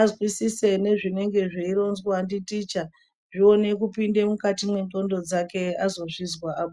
azwisise nezvinenge zveironzwa nditicha zvione kupinda mukati mendxondo dzake azozvizwa aa.